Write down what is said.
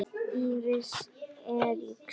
Íris Eiríks.